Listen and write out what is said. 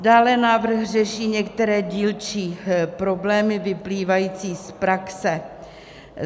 Dále návrh řeší některé dílčí problémy vyplývající z praxe.